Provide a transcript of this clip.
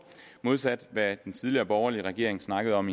modsat hvad den tidligere borgerlige regering snakkede om